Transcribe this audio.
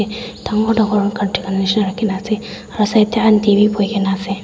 dangor dangor rakhina ase aro side tae aunty bi boikaena ase.